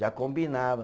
Já combinava.